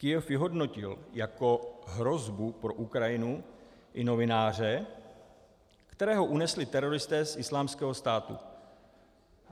Kyjev vyhodnotil jako hrozbu pro Ukrajinu i novináře, kterého unesli teroristé z Islámského státu.